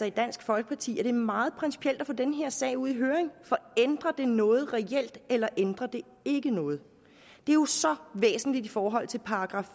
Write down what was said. i dansk folkeparti er meget principielt at få den her sag ud i høring for ændrer det noget reelt eller ændrer det ikke noget det er jo så væsentligt i forhold til §